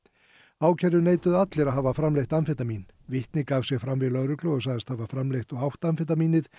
ákærðu neituðu allir að hafa framleitt amfetamín vitni gaf sig fram við lögreglu og sagðist hafa framleitt og átt amfetamínið